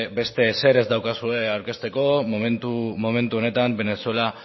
zer ez daukazue aurkezteko momentu honetan venezuela